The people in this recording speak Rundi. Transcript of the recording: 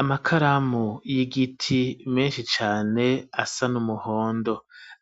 Amakaramu y'igiti menshi cane asa n'umuhondo